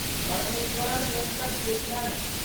Parameswaran Venkata Krishnan